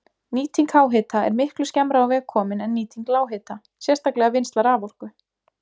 Nýting háhita er miklu skemmra á veg komin en nýting lághita, sérstaklega vinnsla raforku.